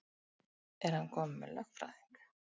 Er hann kominn með lögfræðing?